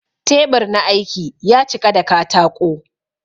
Teɓur na aiki ya ciƙa da kataƙo